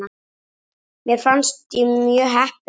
Mér fannst ég mjög heppin.